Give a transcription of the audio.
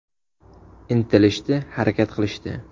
Intilishdi, harakat qilishdi.